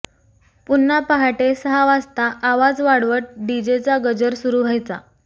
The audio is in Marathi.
पुन्हा पहाटे सहा वाजता आवाज वाढवत डिजेचा गजर सुरू व्हायचा